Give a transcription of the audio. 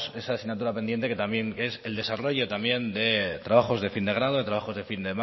esa asignatura pendiente que también es el desarrollo también de trabajos de fin de grado de trabajos de fin